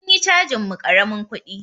Sun yi cajin mu karamin kudi.